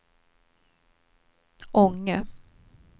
Ånge